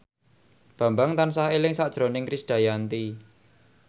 Bambang tansah eling sakjroning Krisdayanti